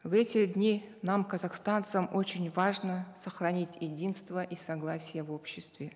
в эти дни нам казахстанцам очень важно сохранить единство и согласие в обществе